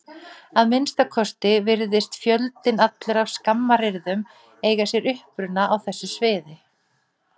Að minnsta kosti virðist fjöldinn allur af skammaryrðum eiga sér uppruna á þessu sviði.